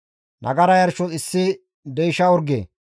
nagara yarshos issi deysha orge,